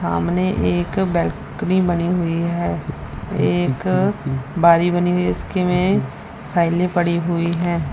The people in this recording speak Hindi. सामने एक बाल्कनी बनी हुई है एक बारी बनी हुई है इसके में फाइले पड़ी हुई है।